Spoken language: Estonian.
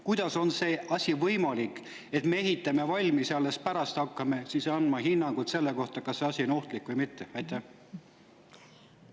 Kuidas on selline asi võimalik, et me ehitame need valmis ja alles pärast seda hakkame andma hinnanguid selle kohta, kas nende on ohtlik või mitte?